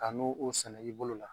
a n'o o sɛnɛ i bolo la